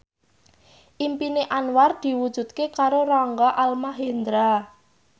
impine Anwar diwujudke karo Rangga Almahendra